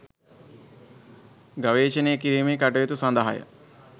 ගවේෂණය කිරීමේ කටයුතු සඳහාය